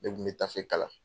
Ne de kun be tafe kala.